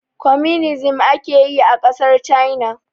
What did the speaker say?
Kwaminisnci ake yi a ƙasar China